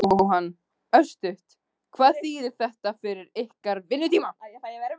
Jóhann: Örstutt, hvað þýðir þetta fyrir ykkar vinnutíma?